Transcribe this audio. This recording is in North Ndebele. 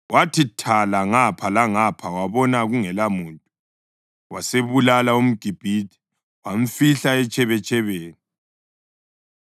Wathi thala ngapha langapha wabona kungelamuntu, wasebulala umGibhithe wamfihla etshebetshebeni.